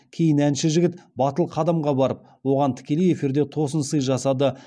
кейін әнші жігіт батыл қадамға барып оған тікелей эфирде тосын сый жасады